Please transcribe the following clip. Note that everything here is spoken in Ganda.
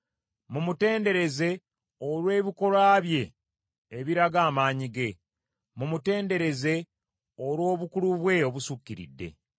Mumutendereze olw’ebikolwa bye ebiraga amaanyi ge; mumutendereze olw’obukulu bwe obusukkiridde.